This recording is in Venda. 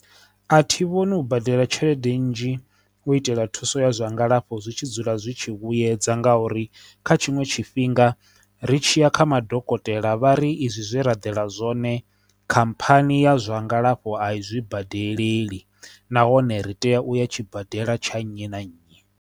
A thi vhoni u badela tshelede nnzhi u itela thuso ya zwa ngalafho zwi tshi dzula zwi tshi vhuedza ngauri kha tshiṅwe tshifhinga ri tshiya kha madokotela vha ri izwi zwe ra ḓela zwone khamphani ya zwa ngalafho a i zwi badeleli nahone ri tea u ya tshibadela tsha nnyi na nnyi.